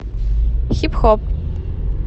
хип хоп